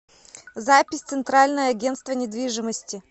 запись центральное агентство недвижимости